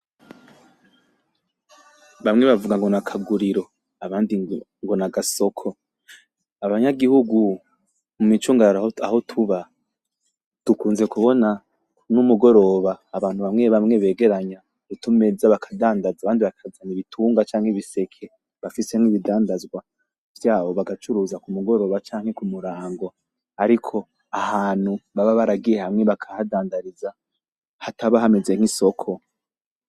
Bamwe bavuga ngo n'akaguriro abandi ngo nagasoko, abanyagihugu mu micungararo aho tuba dukunze kubona ni mugoroba abantu bamwe bamwe begeranya utumeza bakadandaza abandi bakaza ibitunga canke ibiseke bafisemwo ibidandazwa vyabo bagacuruza ku mugoroba canke ku murango ariko ahantu baba baragiye hamwe bakahadandariza hataba hameze nk'isoko.